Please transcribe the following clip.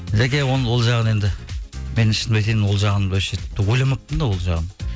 жаке ол жағын енді мен шынымды айтайын ол жағын ойламаппын да ол жағын